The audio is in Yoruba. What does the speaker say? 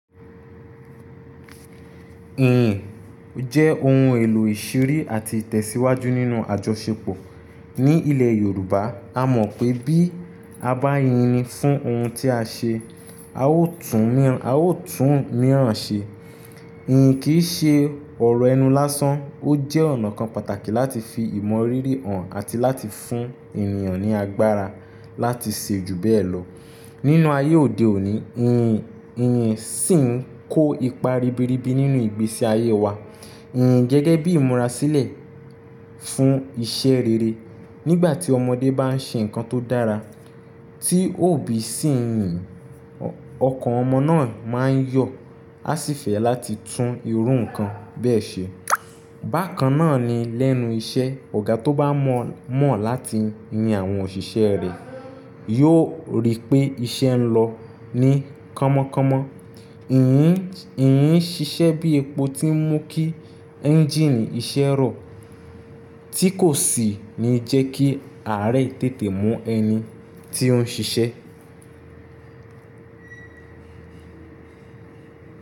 Iyìn jẹ́ ohun èlò ìṣiri àti ìtẹ̀síwájú nínú àjọṣepọ̀ ní ilẹ̀ Yorùbá. A mọ̀ pé bí a bá yin ni fún ohun tí a ṣe, a ó tún omíràn ṣe. Iyìn kì í ṣe ọ̀rọ̀ ẹnu lásán, ó jẹ́ ọ̀nà kan pàtàkì láti fi ìmọ̀rírì hàn àti láti fún ènìyàn ní agbára láti ṣe ju bẹ́ẹ̀ lọ. Nínú ayé òde òní, iyin-iyìn ṣìn ń kó ipa ribiribi nínú ìgbésí ayé wa. Iyìn jẹ́ gẹ́gẹ́ bí ìmúra sílẹ̀ fún iṣẹ́ rere. Nígbà tí ọmọdé bá ń ṣe nǹkan tó dára tí òbí sì ń yin, ọkàn ọmọ náà máa ń yọ, a sì fẹ́ láti tún irú nǹkan bẹ́ẹ̀ ṣe. Bákan náà ni lẹ́nu iṣẹ́, ọ̀gá tó bá mọ̀ láti yin àwọn òṣìṣẹ́ rẹ̀ yiò rí pé iṣẹ́ ń lọ ní kọ́mọ kọ́mọ. Iyì ń ṣiṣẹ́ bí epo tí ń mú kí ẹ́ńjíìnì iṣẹ́ rọ̀, tí kò sì ní jẹ́ kí àárẹ̀ tètè mú ẹni tí ó ń ṣiṣẹ́.